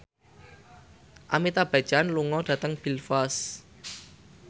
Amitabh Bachchan lunga dhateng Belfast